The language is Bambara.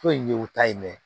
Foyi ɲ'u ta in dɛ